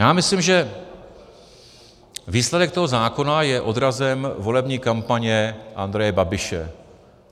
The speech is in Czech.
Já myslím, že výsledek toho zákona je odrazem volební kampaně Andreje Babiše.